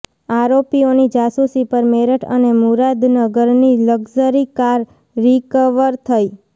આરોપીઓની જાસૂસી પર મેરઠ અને મુરાદનગરથી લક્ઝરી કાર રિક્વર થઈ